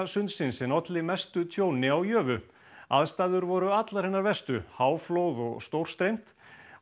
sundsins en olli mestu tjóni á aðstæður voru allar hinar verstu háflóð og stórstreymt